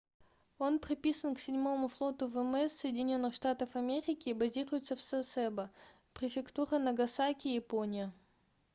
он приписан к 7-му флоту вмс соединенных штатов америки и базируется в сасебо префектура нагасаки япония